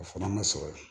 O fana ma sɔrɔ yen